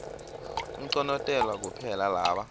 unconotelwa kuphela laba